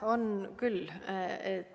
On küll.